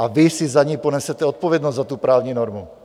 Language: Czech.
A vy si za ni ponesete odpovědnost, za tu právní normu.